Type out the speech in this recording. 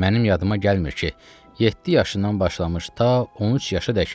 Mənim yadıma gəlmir ki, yeddi yaşından başlamış ta 13 yaşınadək